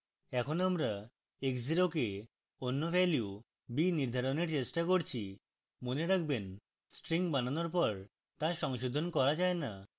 এখন আমরা x 0 কে অন্য value b নির্ধারণের চেষ্টা করছি মনে রাখবেন strings বানানোর পর তা সংশোধন করা যায় now